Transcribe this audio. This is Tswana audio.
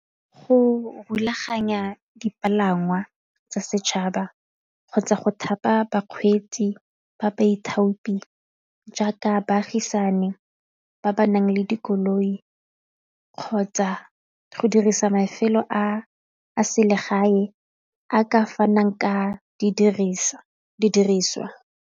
Go rulaganya dipalangwa tsa setšhaba kgotsa go thapa bakgweetsi ba baithopi jaaka baagisane ba ba nang le dikoloi kgotsa go dirisa mafelo a selegae a ka fanang ka didiriswa.